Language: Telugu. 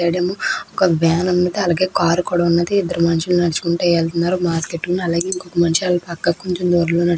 ఇద్దరు మనుషలు నడుచుకుంటూ ఎల్తున్నారు. మాస్క్ వెస్కొని ఏల్తున్నారు. అలాగే ఇద్దరు మనుషలు --